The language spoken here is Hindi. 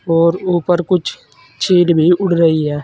और ऊपर कुछ चील भी उड़ रही है।